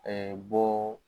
bɔ